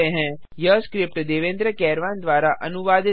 यह स्क्रिप्ट देवेन्द्र कैरवॉन द्वारा अनुवादित है